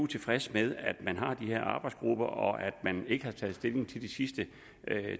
tilfreds med at man har de her arbejdsgrupper og at man ikke har taget stilling til de sidste